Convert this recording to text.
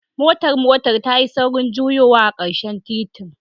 Motar motar tayi saurin juyowa a karshen titin.